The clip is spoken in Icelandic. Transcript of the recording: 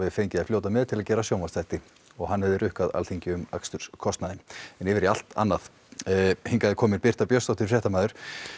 fengið að fljóta með til að gera sjónvarpsþætti hann hefði rukkað Alþingi um aksturskostnað en yfir í allt annað en hingað er komin Birta Björnsdóttir fréttamaður